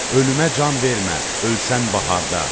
Ölümə can vermə, ölsən baharda.